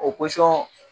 O pɔsɔn